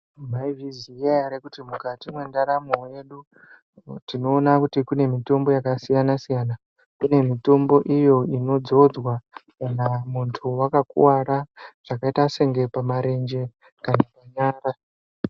Maizviziya ere kuti mukati mwendaramo yedu tinoona kuti kune mitombo yakasiyana siyana kune mitombo iyo inodzodzwa kana muntu wakakuwara zvakaita senge pamarenje kana panyara.